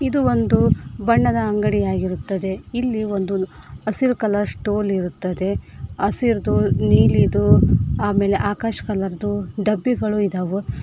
ಇದು ಒಂದು ಬಣ್ಣದ ಅಂಗಡಿ ಆಗಿರುತ್ತದೆ ಇಲ್ಲಿ ಒಂದು ಹಸಿರು ಕಲರ್ ಸ್ಟೂಲ್ ಇರುತ್ತದೆ ಹಸಿರುದು ನೀಲಿದು ಆಮೇಲೆ ಆಕಾಶ್ ಕಲರ್ ದು ಡಬ್ಬಿಗಳು ಇದಾವು.